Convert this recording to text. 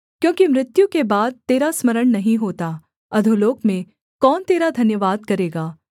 क्योंकि मृत्यु के बाद तेरा स्मरण नहीं होता अधोलोक में कौन तेरा धन्यवाद करेगा